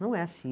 Não é assim.